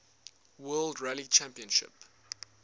world rally championship